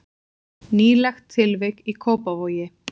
Nýlegt tilvik í Kópavogi